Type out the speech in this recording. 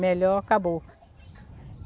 Melhor, acabou.